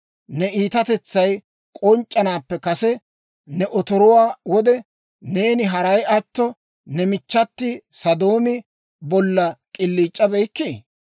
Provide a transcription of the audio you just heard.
Ne iitatetsay k'onc'c'anaappe kase, ne otoruwaa wode, neeni haray atto, ne michchati Sodoomi bolla k'iliic'abeykkii?